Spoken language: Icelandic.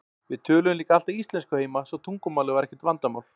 Við töluðum líka alltaf íslensku heima svo tungumálið var ekkert vandamál.